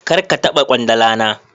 Kar ka taba kwandala na